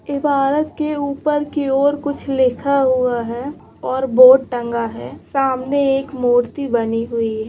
इमारत के ऊपर की ओर कुछ लिखा हुआ है और बोर्ड टंगा है सामने एक मूर्ति बनी हुई है|